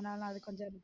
ஆனால அது கொஞ்சம்